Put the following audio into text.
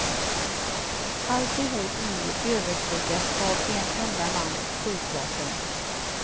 Alltihop nu överskuggat av en enda mans skjutvapen.